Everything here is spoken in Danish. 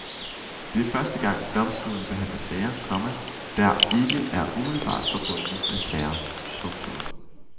Det er første gang domstolen behandler sager, komma der ikke er umiddelbart forbundet med terror. punktum